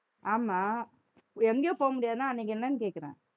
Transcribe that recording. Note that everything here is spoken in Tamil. ஆமா எங்கயும் போக முடியாதுன்னா அன்னைக்கு என்னன்னு கேக்குறேன்